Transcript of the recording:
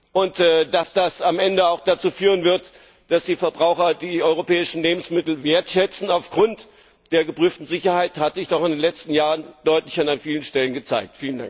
Und dass das dann am Ende auch dazu führen wird, dass die Verbraucher die europäischen Lebensmittel wertschätzen aufgrund der geprüften Sicherheit, hat sich doch in den letzten Jahren deutlich und an vielen Stellen gezeigt.